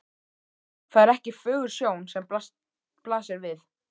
Það er ekki fögur sjón sem blasir við.